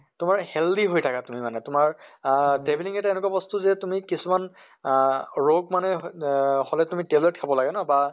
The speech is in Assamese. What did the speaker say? তোমাৰ healthy হৈ থাকা তুমি মানে তোমাৰ আহ travelling এটা এনেকুৱা বস্তু যে তুমি কিছুমান আহ ৰোগ মানে আহ হʼলে তুমি tablet খাব লাগে ন বা